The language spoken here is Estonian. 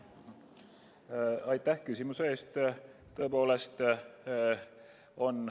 Aitäh küsimuse eest!